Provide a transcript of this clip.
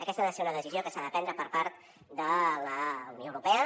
aquesta ha de ser una decisió que s’ha de prendre per part de la unió europea